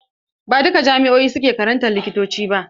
Ba a duka jami'o'i suke karantar likitanci ba.